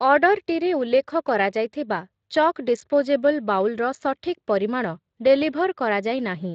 ଅର୍ଡ଼ର୍‌ଟିରେ ଉଲ୍ଲେଖ କରାଯାଇଥିବା ଚକ୍ ଡିସ୍‌ପୋଜେବଲ୍‌ ବାଉଲ୍‌ ର ସଠିକ୍ ପରିମାଣ ଡେଲିଭର୍ କରାଯାଇ ନାହିଁ ।